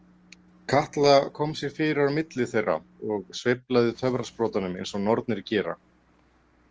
Katla kom sér fyrir á milli þeirra og sveiflaði töfrasprotanum eins og nornir gera.